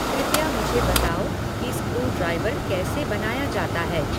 कृपया मुझे बताओ कि स्क्रूड्राइवर कैसे बनाया जाता है